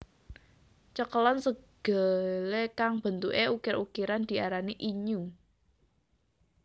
Cekelan segele kang bentuke ukir ukiran diarani innyu